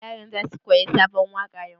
Yaran za su koyi sabon waƙa yau?